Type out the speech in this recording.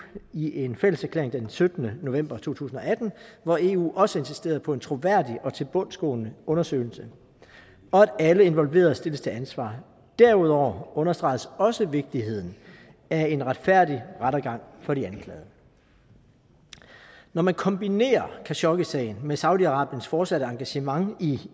i en fælleserklæring den syttende november to tusind og atten hvor eu også insisterede på en troværdig og tilbundsgående undersøgelse og at alle involverede stilles til ansvar derudover understregedes også vigtigheden af en retfærdig rettergang for de anklagede når man kombinerer khashoggisagen med saudi arabiens fortsatte engagement i